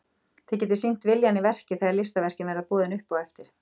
Þið getið sýnt viljann í verki þegar listaverkin verða boðin upp á eftir.